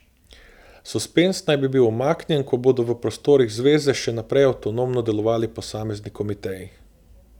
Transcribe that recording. Suspenz naj bi bil umaknjen, ko bodo v prostorih zveze še naprej avtonomno delovali posamezni komiteji.